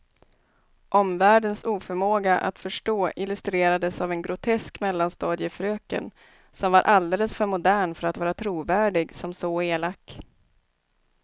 Omvärldens oförmåga att förstå illustrerades av en grotesk mellanstadiefröken, som var alldeles för modern för att vara trovärdig som så elak.